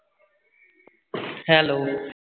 hello